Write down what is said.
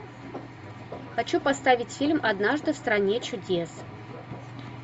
хочу поставить фильм однажды в стране чудес